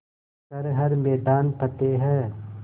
कर हर मैदान फ़तेह